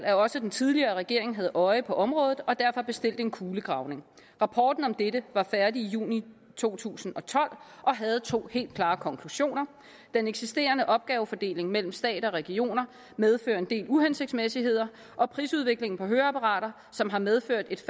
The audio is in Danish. at også den tidligere regering havde øje på området og derfor bestilte en kulegravning rapporten om dette var færdig i juni to tusind og tolv og havde to helt klare konklusioner den eksisterende opgavefordeling mellem stat og regioner medfører en del uhensigtsmæssigheder og prisudviklingen på høreapparater som har medført et